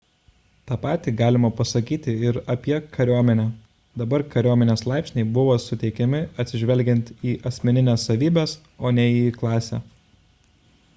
tą patį galima pasakyti ir apie kariuomenę – dabar kariuomenės laipsniai buvo suteikiami atsižvelgiant į asmenines savybes o ne į klasę